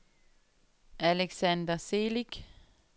Alexander Celik